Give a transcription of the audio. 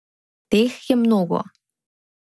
Teh je mnogo.